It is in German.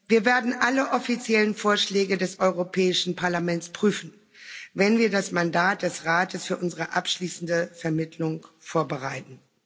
Wir werden alle offiziellen Vorschläge des Europäischen Parlaments prüfen, wenn wir das Mandat des Rates für unsere abschließende Vermittlung vorbereiten.